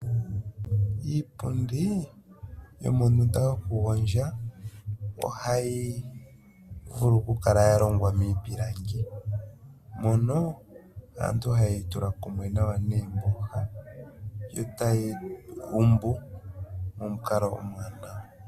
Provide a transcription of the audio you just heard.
Iipundii yomondunda yokugondja ohayi vulu ku kala ya longwa miipilangi mono aantu ohaye yi tula kumwe nawa neemboha eta ye yi gumbu momukalo omwaanawa.